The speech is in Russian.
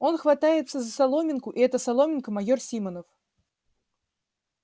он хватается за соломинку и эта соломинка майор симонов